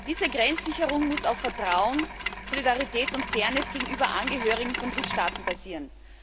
Diese Grenzsicherung muss auf Vertrauen, Solidarität und Fairness gegenüber Angehörigen von Drittstaaten basieren.